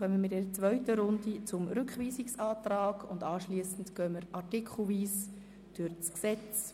In einer zweiten Runde kommen wir zum Rückweisungsantrag und anschliessend beraten wir das Gesetz artikelweise.